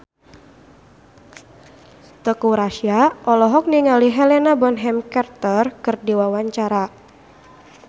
Teuku Rassya olohok ningali Helena Bonham Carter keur diwawancara